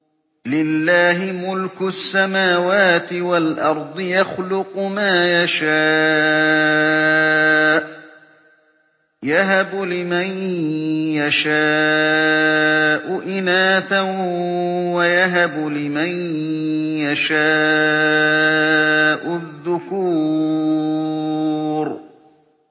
لِّلَّهِ مُلْكُ السَّمَاوَاتِ وَالْأَرْضِ ۚ يَخْلُقُ مَا يَشَاءُ ۚ يَهَبُ لِمَن يَشَاءُ إِنَاثًا وَيَهَبُ لِمَن يَشَاءُ الذُّكُورَ